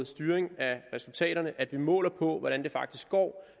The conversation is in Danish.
styring af resultaterne at vi måler på hvordan det faktisk går